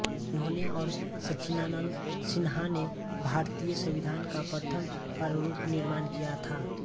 इन्होंने और सच्चिदानंद सिन्हा ने भारतीय संविधान का प्रथम प्रारूप निर्माण किया था